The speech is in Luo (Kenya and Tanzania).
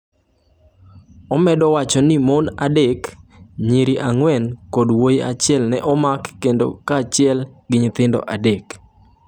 Omedo wacho ni mon adek, nyiri ang’wen kod wuoyi achiel ne omak kaachiel gi nyithindo adek.